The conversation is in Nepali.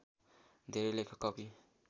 धेरै लेखक कवि